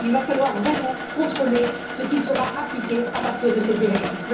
Il va falloir vraiment contrôler ce qui sera appliqué à partir de cette directive.